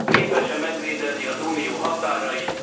Képes e megvédeni az Unió határait?